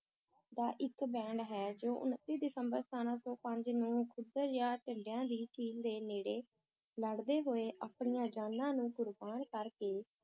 ਦਾ ਇਕ band ਹੈ ਜੋ ਉਣੱਤੀ ਦਸੰਬਰ ਸਤਾਰਾਂ ਸੌ ਪੰਜ ਨੂੰ ਖੁੱਦਰ ਜਾਂ ਢਡਿਆਂ ਦੀ ਝੀਲ ਦੇ ਨੇੜੇ ਲੜਦੇ ਹੋਏ ਆਪਣੀਆਂ ਜਾਨਾਂ ਨੂੰ ਕੁਰਬਾਨ ਕਰਕੇ